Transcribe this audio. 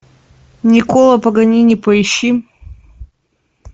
николо паганини поищи